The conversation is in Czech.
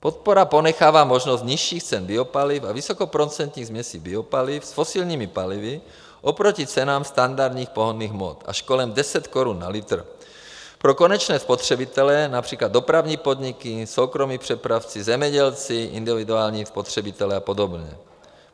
Podpora ponechává možnost nižších cen biopaliv a vysokoprocentních směsí biopaliv s fosilními palivy oproti cenám standardních pohonných hmot - až kolem 10 korun na litr pro konečné spotřebitele, například dopravní podniky, soukromí přepravci, zemědělci, individuální spotřebitelé a podobně.